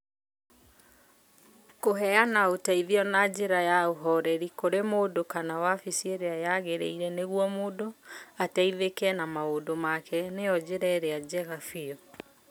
Kũheana ũteithio na njĩra ya ũhooreri kũrĩ mũndũ kana wabici ĩrĩa yagĩrĩire nĩguo mũndũ ateithĩke na maũndũ make, nĩyo njĩra ĩrĩa njega biũ.